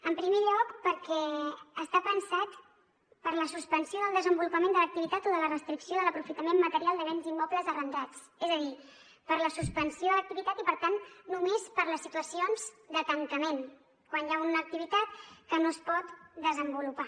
en primer lloc perquè està pensat per a la suspensió del desenvolupament de l’activitat o de la restricció de l’aprofitament material de béns immobles arrendats és a dir per a la suspensió de l’activitat i per tant només per a les situacions de tancament quan hi ha una activitat que no es pot desenvolupar